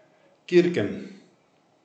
Kirken.